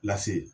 Lase